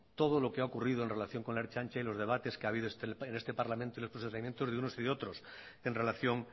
todo lo que ha ocurrido en relación con la ertzaintza y los debates que ha habido en este parlamento y los procedimientos de unos y de otros en relación